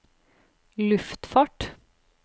luftfart